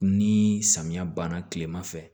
Ni samiya banna kilema fɛ